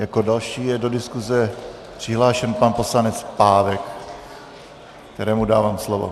Jako další je do diskuze přihlášen pan poslanec Pávek, kterému dávám slovo.